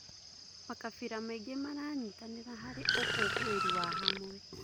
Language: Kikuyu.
Makabira maingĩ maranyitanĩra harĩ ũkũngũĩri wa hamwe.